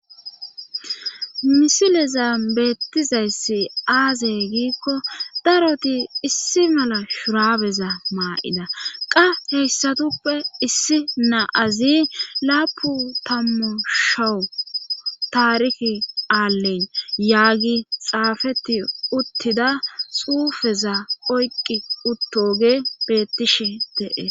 misileza beettizayssi aazey giikko daroti issi mala shurabeza maa7ida qa heyssatuppe issi naazi laapu tammu showu taarihi aalleyn yaagi xaafeti uttida xuufeza oyqqi uttoge bettishi de7e